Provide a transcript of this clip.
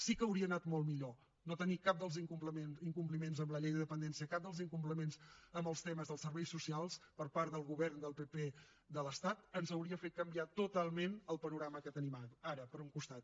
sí que hauria anat molt millor no tenir cap dels incompliments amb la llei de dependència cap dels incompliments amb els temes dels serveis socials per part del govern del pp de l’estat ens hauria fet canviar totalment el panorama que tenim ara per un costat